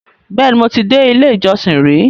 Bẹ́ẹ̀ni, mo ti dé ilé-ìjọsìn rí